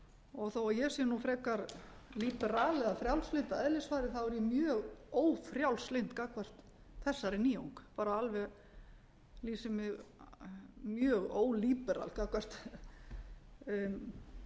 og þó ég sé nú frekar ólíberal eða frjálslynd að eðlisfari þá er ég mjög ófrjálslynd gagnvart þessari nýjung bara alveg lýsi mig mjög ó ólíberal gagnvart